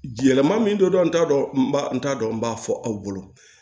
Yɛlɛma min don n t'a dɔn n b'a n t'a dɔn n b'a fɔ aw bolo